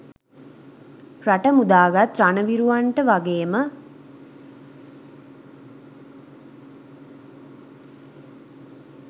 රට මුදාගත් රණවිරුවන්ට වගේම